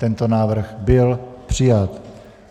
Tento návrh byl přijat.